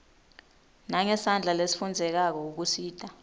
nangesandla lesifundzekako kusita